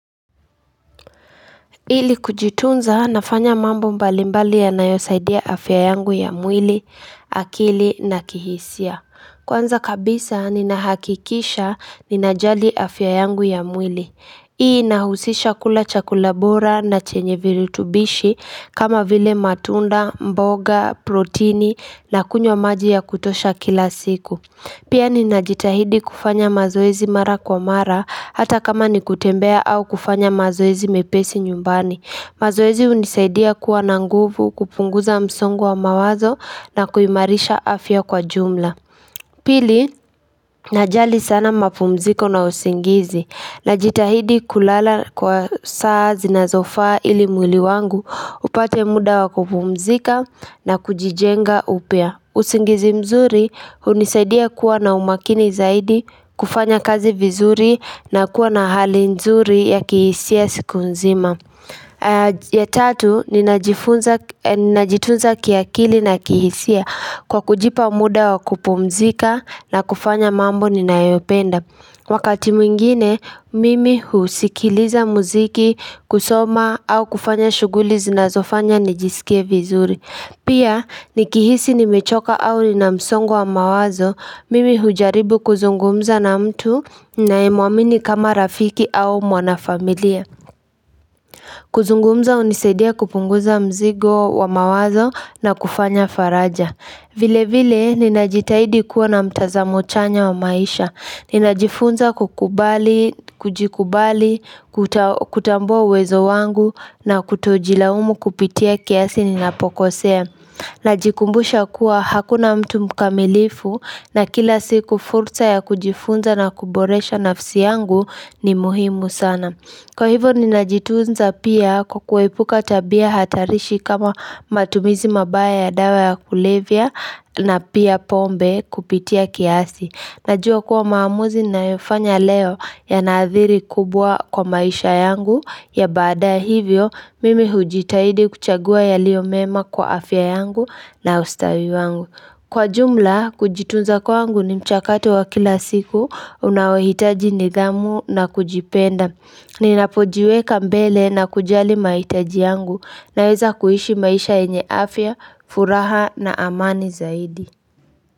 Ili kujitunza nafanya mambo mbalimbali yanayosaidia afya yangu ya mwili, akili na kihisia Kwanza kabisa ninahakikisha ninajali afya yangu ya mwili hii inahusisha kula chakula bora na chenye virutubishi kama vile matunda, mboga, protini na kunywa maji ya kutosha kila siku Pia ninajitahidi kufanya mazoezi mara kwa mara hata kama ni kutembea au kufanya mazoezi mepesi nyumbani. Mazoezi hunisaidia kuwa na nguvu kupunguza msongo wa mawazo na kuimarisha afya kwa jumla. Pili, najali sana mapumziko na usingizi. Najitahidi kulala kwa saa zinazofa ili mwili wangu upate muda wa kupumzika na kujijenga upya. Usingizi mzuri hunisaidia kuwa na umakini zaidi, kufanya kazi vizuri na kuwa na hali nzuri ya kihisia siku nzima ya tatu, ninajitunza kiakili na kihisia kwa kujipa muda wa kupumzika na kufanya mambo ninayopenda Wakati mwingine, mimi husikiliza muziki kusoma au kufanya shughuli zinazofanya nijisikie vizuri Pia, nikihisi nimechoka au nina msongo wa mawazo, mimi hujaribu kuzungumza na mtu ninayemuamini kama rafiki au mwanafamilia. Kuzungumza hunisaidia kupunguza mzigo wa mawazo na kufanya faraja. Vilevile, ninajitahidi kuwa na mtazamo chanya wa maisha. Ninajifunza kukubali, kujikubali, kutambua uwezo wangu na kutojilaumu kupitia kiasi ninapokosea. Najikumbusha kuwa hakuna mtu mkamilifu na kila siku fursa ya kujifunza na kuboresha nafsi yangu ni muhimu sana. Kwa hivyo ninajitunza pia kwa kuepuka tabia hatarishi kama matumizi mabaya ya dawa ya kulevya na pia pombe kupitia kiasi. Najua kuwa maamuzi ninayofanya leo yanaadhiri kubwa kwa maisha yangu ya badaaye hivyo mimi hujitahidi kuchagua yaliyo mema kwa afya yangu na ustawi wangu. Kwa jumla kujitunza kwangu ni mchakato wa kila siku unaohitaji nidhamu na kujipenda. Ninapojiweka mbele na kujali mahitaji yangu naweza kuishi maisha yenye afya, furaha na amani zaidi.